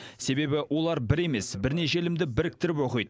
себебі олар бір емес бірнеше ілімді біріктіріп оқиды